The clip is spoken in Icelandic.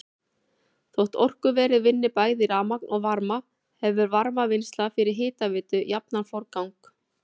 Þótt orkuverið vinni bæði rafmagn og varma hefur varmavinnsla fyrir hitaveitu jafnan forgang.